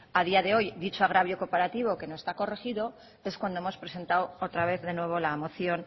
a día de hoy dicho agravio comparativo que no está corregido es cuando hemos presentado otra vez de nuevo la moción